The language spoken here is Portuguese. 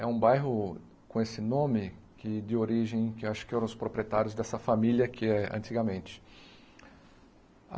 É um bairro com esse nome de de origem, que eu acho que eram os proprietários dessa família, que é antigamente.